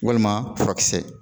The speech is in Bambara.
Walima furakisɛ